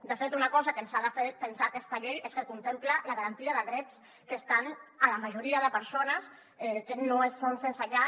de fet una cosa que ens ha de fer pensar aquesta llei és que contempla la garantia de drets que estan a la majoria de persones que no són sense llar